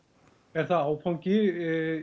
er það áfangi